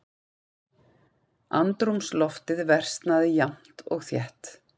Andrúmsloftið versnaði jafnt og þétt.